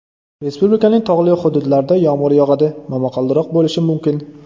Respublikaning tog‘li hududlarida yomg‘ir yog‘adi, momaqaldiroq bo‘lishi mumkin.